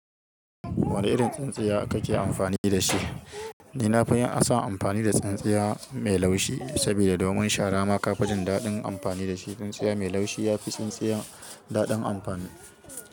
Wane irin tsintsiya kake amfani da shi? Ni na fi yin san amfani da tsintsiya mai laushi saboda domin shara ma ka fi jin daɗin amfani da shi. Tsintsiya mai laushi ya fi tsintsiya daɗin amfani.